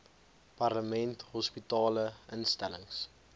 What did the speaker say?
parlement hospitale instellings